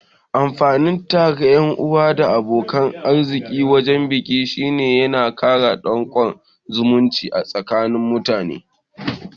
Amfanin tara ƴan'uwa da abokan arziki wajan biki shine yana kara danƙon zumunci a tsakani mutane